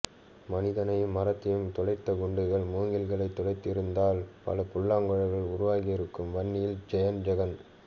மனிதனையும் மரத்தையும் துளைத்த குண்டுகள் மூங்கில்களைத் துளைத்திருந்தால் பல புல்லாங்குழல்கள் உருவாகியிருக்கும் வன்னியில் ஜெயம் ஜெகன்